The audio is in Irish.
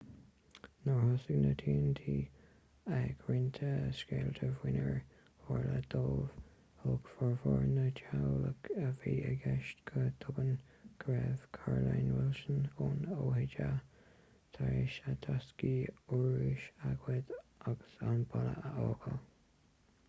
nuair a thosaigh na tionóntaí ag roinnt scéalta faoinar tharla dóibh thuig formhór na dteaghlach a bhí i gceist go tobann go raibh carolyn wilson ón oha tar éis a dtaiscí urrúis a ghoid agus an baile a fhágáil